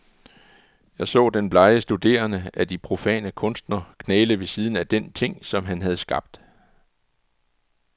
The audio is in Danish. Jeg så den blege studerende af de profane kunster knæle ved siden af den ting, som han havde skabt.